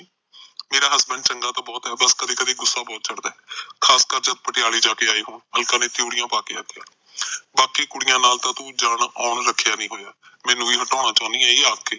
ਮੇਰਾ ਹਸਬੈਡ ਚੰਗਾ ਤਾਂ ਬਹੁਤ ਐ ਬੱਸ ਕਦੇ ਕਦੇ ਗੁੱਸਾ ਬਹੁਤ ਚੜ੍ਹਦਾ ਏ ਖਾਸ ਕਰ ਜਦ ਪਟਿਆਲੇ ਜਾ ਕੇ ਆਏ ਹੋਣ ਅਲਕਾ ਨੇ ਤਿਉੜੀਆਂ ਪਾ ਕੇ ਆਖਿਆ ਬਾਕੀਆਂ ਕੁੜੀਆਂ ਨਾਲ ਤੂੰ ਜਾਨ ਆਉਣ ਰਖਿਆ ਨਹੀਂ ਹੋਇਆ ਮੈਨੂੰ ਵੀ ਹਟਾਉਣਾ ਚੋਂਦੀ ਏ ਇਹ ਆਖ ਕੇ